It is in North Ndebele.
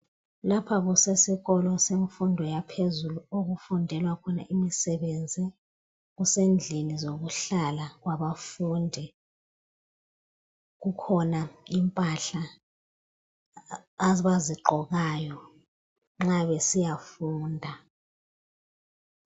Lapha kusesikolo kumfundo yaphezulu okufundelwa khona imisebenzi kusendlini yokuhlala ngabafundi kukhona impahla abazigqokayo nxa besiyafunda